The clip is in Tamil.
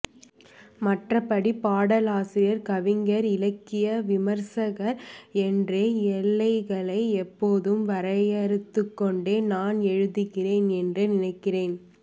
மற்றபடி பாடலாசிரியர் கவிஞர் இலக்கிய விமரிசகர் என்ற எல்லைகளை எப்போதும் வரையறுத்துக்கோன்டே நான் எழுதுகிறேன் என்றே நினைக்கிறேன்